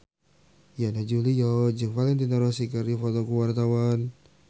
Yana Julio jeung Valentino Rossi keur dipoto ku wartawan